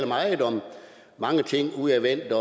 meget om mange ting udadvendthed